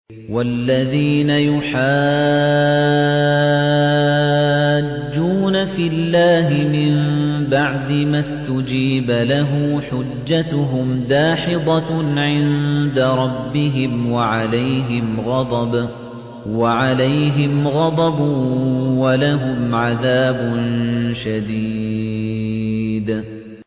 وَالَّذِينَ يُحَاجُّونَ فِي اللَّهِ مِن بَعْدِ مَا اسْتُجِيبَ لَهُ حُجَّتُهُمْ دَاحِضَةٌ عِندَ رَبِّهِمْ وَعَلَيْهِمْ غَضَبٌ وَلَهُمْ عَذَابٌ شَدِيدٌ